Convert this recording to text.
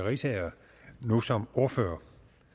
riisager nu som ordfører